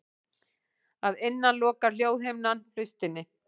Að innan lokar hljóðhimnan hlustinni.